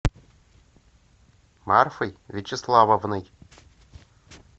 марфой вячеславовной